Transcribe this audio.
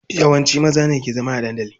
Yawanci maza ne ke zama a dandali.